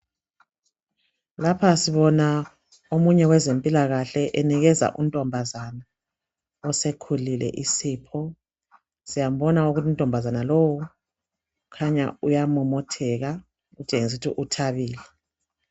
Lapha sibona omunye wezempilakahle enikeza untombazana osekhulile isipho .Siyambona ukuthi untombazana lowo kukhanya uyamomotheka kutshengisa ukuthi uthabile.